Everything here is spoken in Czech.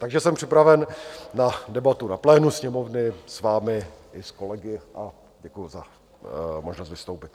Takže jsem připraven na debatu na plénu Sněmovny s vámi i s kolegy a děkuji za možnost vystoupit.